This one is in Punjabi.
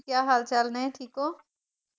ਕਿਆ ਹਾਲ - ਚਾਲ ਨੇ, ਠੀਕ ਹੋਂ?